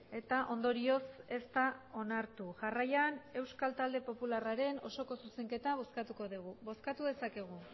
eta ondorioz ez da onartu jarraian euskal talde popularraren osoko zuzenketa bozkatuko dugu bozkatu dezakegu